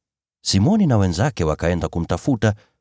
Simoni na wenzake wakaenda kumtafuta,